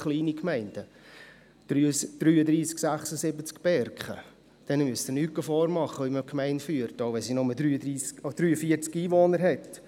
Dieser Gemeinde müssen Sie nicht vormachen, wie man eine Gemeinde führt, auch wenn sie nur 43 Einwohner hat.